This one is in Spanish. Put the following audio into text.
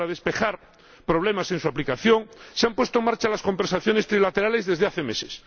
Para despejar problemas en su aplicación se han puesto en marcha las conversaciones trilaterales desde hace meses.